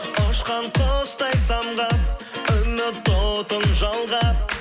ұшқан құстай самға үміт отын жалға